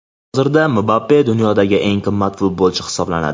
Hozirda Mbappe dunyodagi eng qimmat futbolchi hisoblanadi.